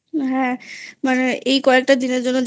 মানে হ্যাঁ মানে এই কয়েকটা দিনের জন্য